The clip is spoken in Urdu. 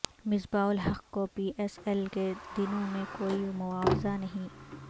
مصباح الحق کو پی ایس ایل کے دنوں میں کوئی معاوضہ نہیں